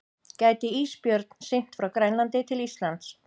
Gæti ísbjörn synt frá Grænlandi til Íslands?